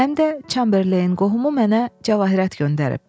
Həm də Çamberleyn qohumu mənə cavahirət göndərib.